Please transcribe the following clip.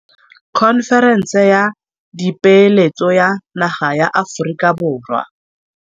Khonferense ya Dipeeletso ya naga ya Aforika Borwa.